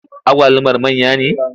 Agwalumar manya ne?